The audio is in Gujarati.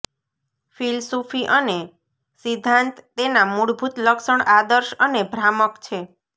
ફિલસૂફી અને સિદ્ધાંત તેના મૂળભૂત લક્ષણ આદર્શ અને ભ્રામક છે